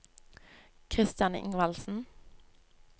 Christian Ingvaldsen